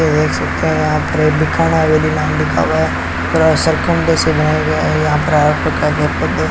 देख सकते हैं यहां पर एक हवेली नाम लिखा हुआ है पूरा से बनाया गया है यहां पर --